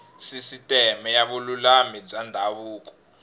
sisiteme ya vululami bya ndhavuko